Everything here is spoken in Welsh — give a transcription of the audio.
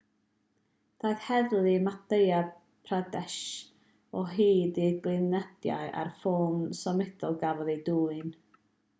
daeth heddlu madhya pradesh o hyd i'r gliniadur a'r ffôn symudol gafodd eu dwyn